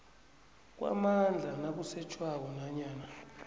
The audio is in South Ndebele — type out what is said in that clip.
kwamandla nakusetjhwako nanyana